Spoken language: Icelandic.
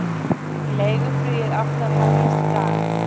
Leiguflugið átti að hefjast í dag